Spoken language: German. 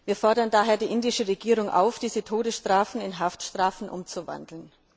Wir fordern daher die indische Regierung auf, diese Todesstrafen in Haftstrafen umzuwandeln.